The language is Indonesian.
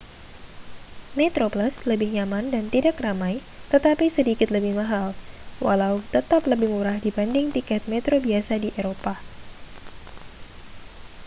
metroplus lebih nyaman dan tidak ramai tetapi sedikit lebih mahal walau tetap lebih murah dibanding tiket metro biasa di eropa